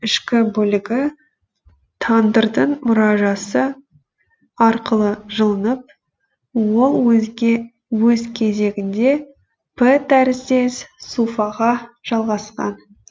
ішкі бөлігі тандырдың мұражасы арқылы жылынып ол өз кезегінде п тәріздес суфаға жалғасқан